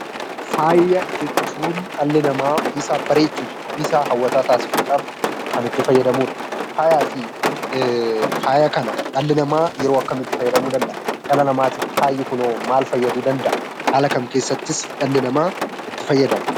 Faaya jechuun dhalli namaa ofiisaa bareechuuf ofiisaa hawwataa taasisuudhaaf kan itti fayyadamudha. Faayaa kana dhalli namaa yeroo akkamii itti fayyadamuu danda'a? Dhala namatiif faayi kunoo maal fayyaduu danda'a? Haala kam keessattis dhalli namaa itti fayyadama?